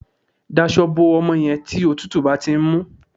Dasọ bo ọmọ yẹn tí òtútù bá ti ń mú